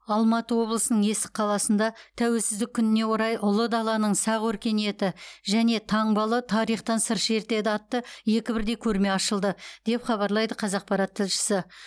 алматы облысының есік қаласында тәуелсіздік күніне орай ұлы даланың сақ өркениеті және таңбалы тарихтан сыр шертеді атты екі бірдей көрме ашылды деп хабарлайды қазақпарат тілшісі